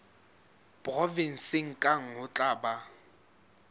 provenseng kang ho tla ba